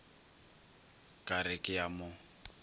ka re ke a mo